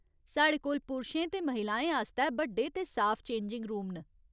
साढ़े कोल पुरशें ते महिलाएं आस्तै बड्डे ते साफ चेंजिंग रूम न।